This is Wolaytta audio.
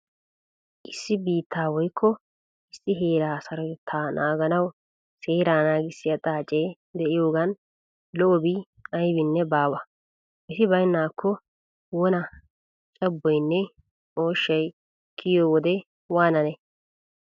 Issi biittaa woykko issi heeraa sarotettaa naaganawu seeraa naagissiya xaaceti de'iyogaadan lo''obi aybinne baawa. Eti baynnaakko wona cabboynne ooshshay kiyo wodee waananee!